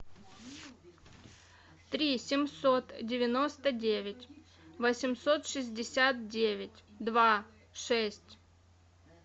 три семьсот девяносто девять восемьсот шестьдесят девять два шесть